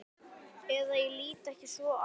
Eða ég lít ekki svo á.